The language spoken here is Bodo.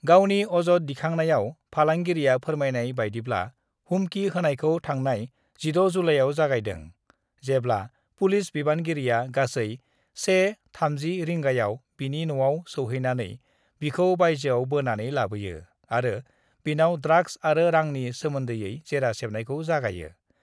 गावनि अजद दिखांनायाव फालांगिरिया फोरमायनाय बायदिब्ला, हुमखि होनायखौ थांनाय 6 जुलाइयाव जागायदों, जेब्ला पुलिस बिबानगिरिया गासै 1:30 रिंगायाव बिनि न'आव सौहैनानै बिखौ बायजोआव बोनानै लाबोयो आरो बिनाव ड्राग्स आरो रांनि सोमोन्दै जेरा सेबनायखौ जागायो।